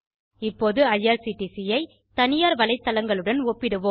இப்போது ஐஆர்சிடிசி ஐ தனியார் வலைத்தளங்களுடன் ஒப்பிடுவோம்